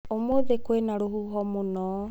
ũmũthĩ kwĩna rũhuho mũno.